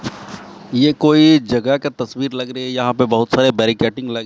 ये कोई जगह का तस्वीर लग रही है यहां पे बहुत सारे बैरिकेडिंग लगी--